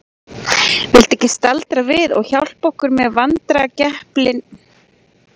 Viltu ekki staldra við og hjálpa okkur með vandræðagepilinn í hús?